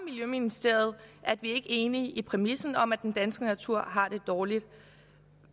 miljøministeriet at vi er ikke enige i præmissen om at den danske natur har det dårligt